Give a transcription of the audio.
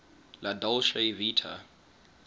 la dolce vita